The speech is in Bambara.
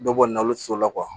Dɔ bɔ nalo solo la